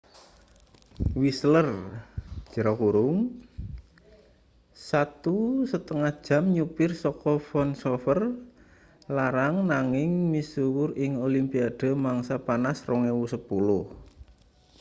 whistler 1,5 jam nyupir saka vancouver larang nanging misuwur ing olimpiade mangsa panas 2010